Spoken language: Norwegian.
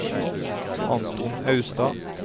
Anton Austad